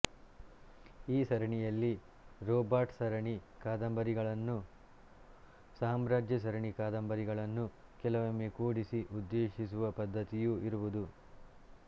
ಈ ಸರಣಿಯಲ್ಲಿ ರೋಬಾಟ್ ಸರಿಣಿ ಕಾದಂಬರಿಗಳನ್ನೂ ಸಾಮ್ರಾಜ್ಯ ಸರಣಿ ಕಾದಂಬರಿಗಳನ್ನೂ ಕೆಲವೊಮ್ಮೆ ಕೂಡಿಸಿ ಉದ್ದೇಶಿಸುವ ಪದ್ಧತಿಯೂ ಇರುವುದು